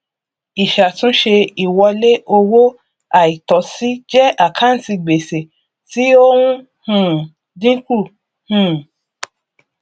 ìṣàtúnṣe ìwọlé owó àìtọsí jẹ àkántì gbèsè tí ó ń um dínkù um